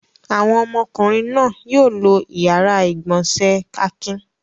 Àwọn ọmọkùnrin náà yóò lo ìyàrá-ìgbọ̀nsẹ̀ Akin.